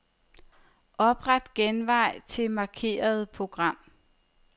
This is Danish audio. Opret genvej til markerede program.